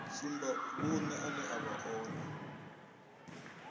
tsumbavhuṅe ane a vha one